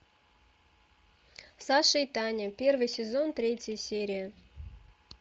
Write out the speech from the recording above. саша и таня первый сезон третья серия